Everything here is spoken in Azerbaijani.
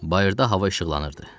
Bayırda hava işıqlanırdı.